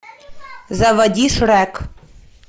заводи шрек